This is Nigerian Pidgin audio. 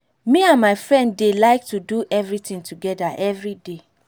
me and my friend dey like do everything together everyday